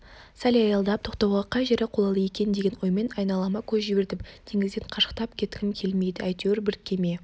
сәл аялдап тоқтауға қай жері қолайлы екен деген оймен айналама көз жібердім теңізден қашықтап кеткім келмейді әйтеуір бір кеме